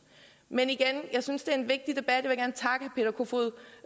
men igen jeg synes det er en vigtig debat